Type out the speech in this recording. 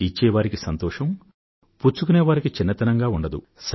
ఇచ్చే వారికీ సంతోషం పుచ్చుకునే వారికీ చిన్నతనంగా ఉండదు